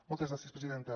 moltes gràcies presidenta